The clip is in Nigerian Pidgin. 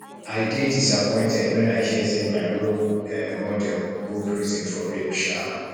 i dey disappointed wen i hear say my role um model go prison for rape um